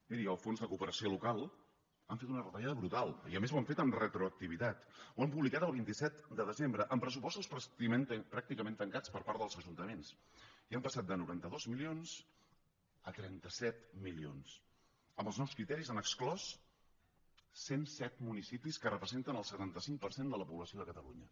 mirin al fons de cooperació local han fet una retallada brutal i a més ho han fet amb retroactivitat ho han publicat el vint set de desembre amb pressupostos pràcticament tancats per part dels ajuntaments i han passat de noranta dos milions a trenta set milions amb els nous criteris han exclòs cent set municipis que representen el setanta cinc per cent de la població de catalunya